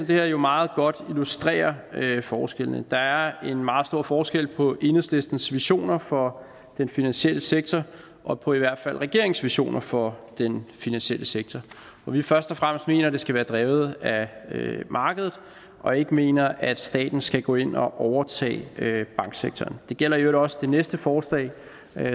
her jo meget godt illustrerer forskellen der er en meget stor forskel på enhedslistens visioner for den finansielle sektor og på i hvert fald regeringens visioner for den finansielle sektor hvor vi først og fremmest mener at det skal være drevet af markedet og ikke mener at staten skal gå ind og overtage banksektoren det gælder i øvrigt også det næste forslag